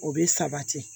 O bɛ sabati